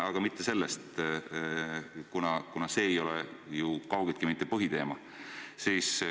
Aga mitte selle kohta ei taha ma küsida, see ei ole täna ju põhiteema.